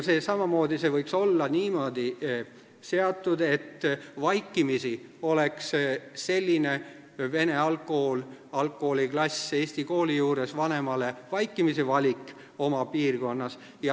Samuti võiks olla niimoodi seatud, et selline vene algkooliklass eesti kooli juures oleks lapsevanemale vaikimisi valik oma piirkonnas.